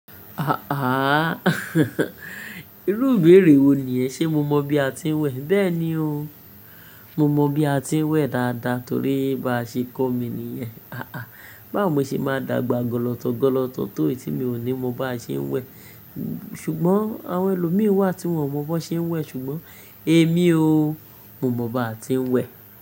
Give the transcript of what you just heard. À-àh. Irú ìbéèrè wo nìyẹn? Ṣé mo mọ bí a ti ń wẹ̀? Bẹ́ẹ̀ni o, mo mọ bí a ti ń wẹ̀ dáadáa torí bá ṣe kọ́ mi nìyẹn. À-àh, báwo mo ṣe máa dàgbà gọlọtọ gọlọtọ tó yi tí mi ò ní mọ bá ṣe ń wẹ̀. Ṣùgbọ́n àwọn ẹlòmíràn wà tí wọ́n ò mọ bó ṣe ń wẹ̀ ṣùgbọ́n èmi o, mo mọ bá ti ń wẹ̀